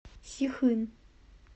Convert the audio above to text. сихын